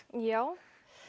já